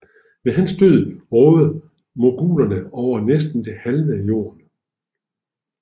Ved hans død rådede mogulerne over næsten det halve af Indien